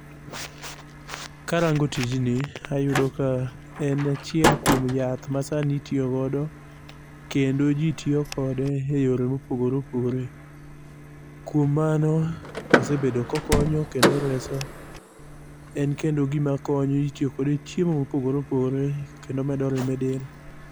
Karango tijni, ayudo ka en achiel kuom yath masani itiyo godo. Kendo ji tiyo kode eyore mopogore opogore. Kuom mano, osebedo kokonyo, kendo oreso. En kendo gima konyo, itiyo kode e chiemo mopogore opogore kendo omedo remo edel.